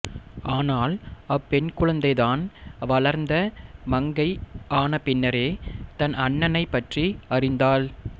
ஆனால் அப்பெண்குழந்தை தான் வளர்ந்த மங்கை ஆன பின்னரே தன் அண்ணனைப் பற்றி அறிந்தாள்